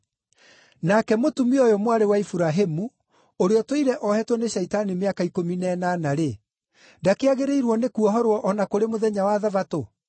Nake mũtumia ũyũ mwarĩ wa Iburahĩmu, ũrĩa ũtũire ohetwo nĩ Shaitani mĩaka ikũmi na ĩnana; ndakĩagĩrĩrwo nĩ kuohorwo o na kũrĩ mũthenya wa Thabatũ?”